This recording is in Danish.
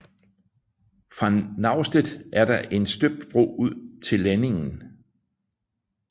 Fra naustet er der en støbt bro ud til landingen